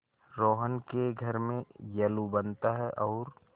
रोहन के घर में येल्लू बनता है और